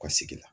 U ka sigi la